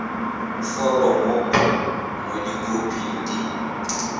foromo b mo dikhoping di